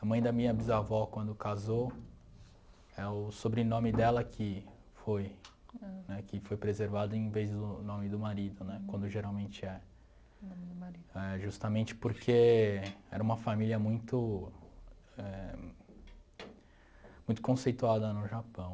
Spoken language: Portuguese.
A mãe da minha bisavó, quando casou, é o sobrenome dela que foi, né, que foi preservado em vez do nome do marido, né, quando geralmente é. Nome do marido. É justamente porque era uma família muito éh...muito conceituada no Japão.